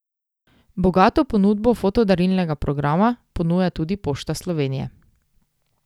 Bogato ponudbo foto darilnega programa ponuja tudi Pošta Slovenije.